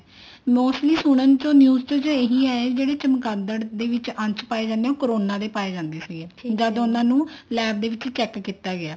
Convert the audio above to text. mostly ਸੁਣਨ ਚ news ਚ ਇਹੀ ਆਇਆ ਜਿਹੜੇ ਚਮਕਾਦੜ ਦੇ ਵਿੱਚ ਅੰਸ਼ ਪਾਏ ਜਾਂਦੇ ਆ ਉਹ corona ਦੇ ਪਾਏ ਜਾਂਦੇ ਆ ਜਦ ਉਹਨਾ ਨੂੰ LAB ਦੇ ਵਿੱਚ check ਕੀਤਾ ਗਿਆ